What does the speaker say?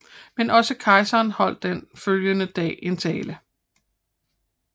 Men også kejseren holdt den følgende dag en tale